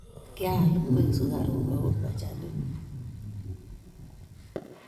Kial ungek, sukaruk ago machanik